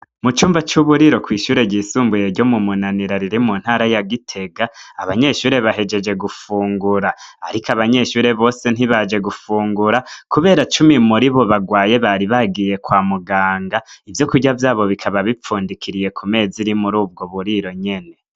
Mucumba c'uburiro kw'ishure ryisumbuye ryo mumunanira riri muntara ya gitega abanyeshure bahegeje gufungura ariko abanyeshure bose ntibaje gufungura kubera cumi muribo bagwaye bari bagiye kwamuganga. Ivyokurya vyabo bikaba bipfundikiriye kumeza iri muri ubwoburiro nyene.